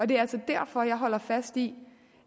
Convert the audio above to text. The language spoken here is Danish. det er altså derfor jeg holder fast i